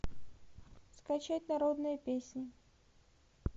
скачать народные песни